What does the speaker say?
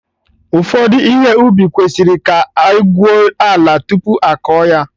Ụfọdụ ihe ubi kwesịrị ka egwuo ala tupu akọ ya